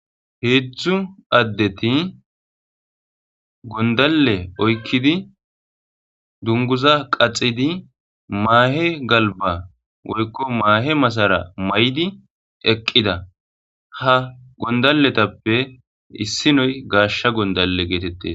heetztzu addeti gondalle oykkidi dunguza qaxidi maahe galba woykko maahe masara may7di eqqida ha gondalletappe issinoy gaashsha gondalle geetette